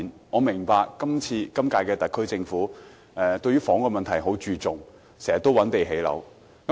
我明白本屆特區政府很注重房屋問題，經常表示要覓地建屋。